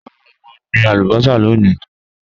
Rara, mo n gbin alubosa loni.